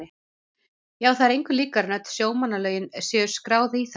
Já, það er engu líkara en öll sjómannalögin séu skráð í þær.